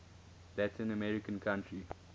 latin american country